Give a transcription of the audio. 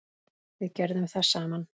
Við gerðum það saman.